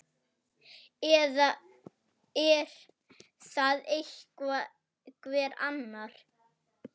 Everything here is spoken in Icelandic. Eða er það einhver annar?